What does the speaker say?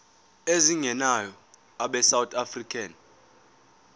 ezingenayo abesouth african